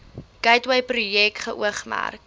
gateway projek geoormerk